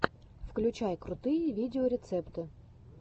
включай крутые видеорецепты